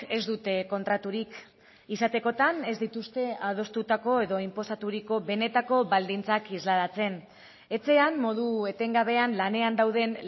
ez dute kontraturik izatekotan ez dituzte adostutako edo inposaturiko benetako baldintzak islatzen etxean modu etengabean lanean dauden